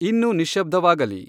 ಇನ್ನೂ ನಿಶ್ಯಬ್ಧವಾಗಲಿ